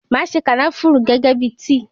Máa se kànáfùrù gẹ́gẹ́ bíi tíì.